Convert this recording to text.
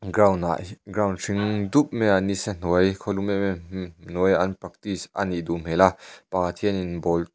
ground ah ground hring dup maiah ni sa hnuai khawlum em em hnuaiah an practice a nih duh hmel a pakhat hianin ball --